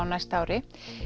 næsta ári